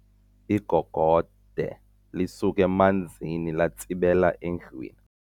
Igogode lisuke emanzini latsibela endlwini.